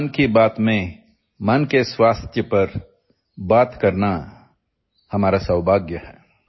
ମନ୍ କି ବାତ୍ରେ ମାନସିକ ସ୍ୱାସ୍ଥ୍ୟ ଉପରେ କହିବା ଆମ ପାଇଁ ସୌଭାଗ୍ୟର ବିଷୟ